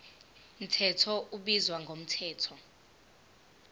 mthetho ubizwa ngomthetho